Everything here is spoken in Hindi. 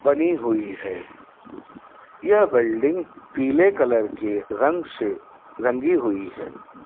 बनी हुई है यह बिल्डिंग पीले कलर की रंग से रंगी हुई है।